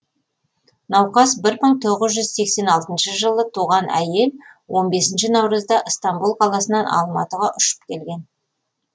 науқас бір мың тоғыз жүз сексен алтыншы жылы туған әйел он бесінші наурызда ыстамбұл қаласынан алматыға ұшып келген